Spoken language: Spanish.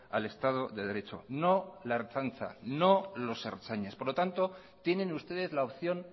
al estado de derecho no la ertzaintza no los ertzainas por lo tanto tienen ustedes la opción